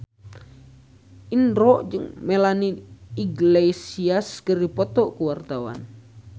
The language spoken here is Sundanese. Indro jeung Melanie Iglesias keur dipoto ku wartawan